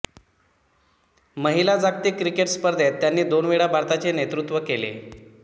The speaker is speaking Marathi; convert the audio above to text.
महिला जागतिक क्रिकेट स्पर्धेत त्यांनी दोन वेळा भारताचे नेतृत्व केले